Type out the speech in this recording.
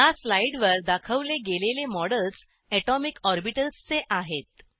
ह्या स्लाईडवर दाखवले गेलेले मॉडेल्स अटॉमिक ऑर्बिटल्स चे आहेत